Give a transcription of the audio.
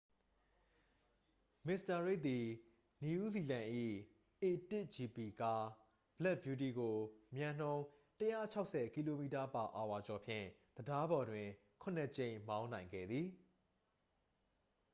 မစ္စတာရိက်သည် နယူးဇီလန်၏ a၁gp ကား ဘလက်ဗျူးတီးကို မြန်နှုန်း ၁၆၀km/h ကျော်ဖြင့် တံတားပေါ်တွင် ခုနစ်ကြိမ် မောင်းနိုင်ခဲ့သည်။